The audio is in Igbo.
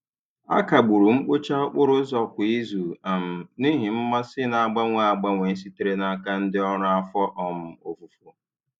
A kagburu mkpocha okporo ụzọ kwa izu um n'ihi mmasị na-agbanwe agbanwe sitere n'aka ndị ọrụ afọ um ofufo.